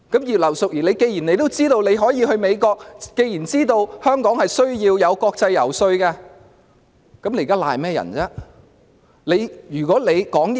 葉劉淑儀議員既然知道自己要去美國，既然知道香港需要國際遊說，那麼她現在為何仍要諉過於人？